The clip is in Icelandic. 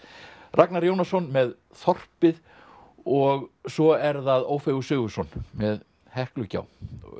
Ragnar Jónasson með þorpið og svo er það Ófeigur Sigurðsson með Heklugjá